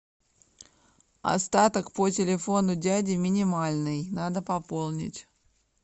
остаток по телефону дяди минимальный надо пополнить